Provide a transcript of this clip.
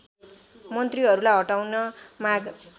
मन्त्रीहरूलाई हटाउन माग